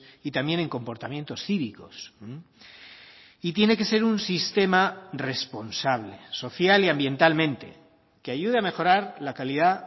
y también en comportamientos cívicos y tiene que ser un sistema responsable social y ambientalmente que ayude a mejorar la calidad